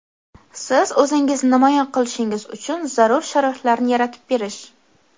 siz o‘zingizni namoyon qilishingiz uchun zarur sharoitlarni yaratib berish.